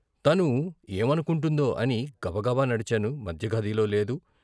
తను ఏమనుకుంటుందో అని గబగబ నడిచాను మధ్య గదిలో లేదు.